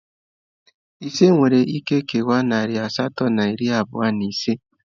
Ise nwere ike kewaa nari asatọ na iri abụọ na ise.